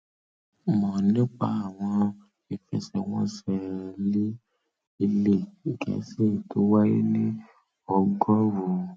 mọ nípa àwọn ìfẹsẹwọnsẹ líì ilẹ gẹẹsì tó wáyé ní ọgọrùú